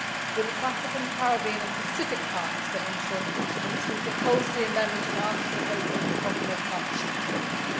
With its African, Caribbean and Pacific partners, for instance, we proposed the amendment of Article 8 in the Cotonou Partnership Agreement.